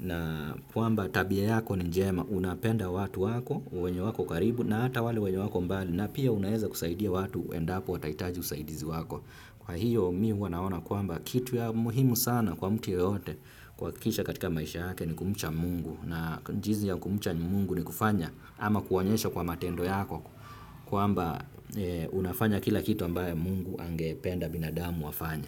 na kwamba tabia yako ni njema unapenda watu wako, wenye wako karibu na hata wale wenye wako mbali na pia unaeza kusaidia watu endapo wataitaji usaidizi wako. Kwa hiyo mimi huwa naona kwamba kitu ya muhimu sana kwa mtu yeyote kuhakikisha katika maisha yake ni kumcha mungu na jinsi ya kumcha mungu ni kufanya ama kuonyesha kwa matendo yako kwamba unafanya kila kitu ambaye mungu angependa binadamu afanye.